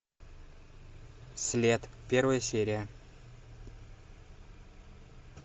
след первая серия